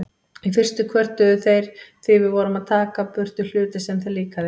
Í fyrstu kvörtuðu þeir því við vorum að taka í burtu hluti sem þeim líkaði.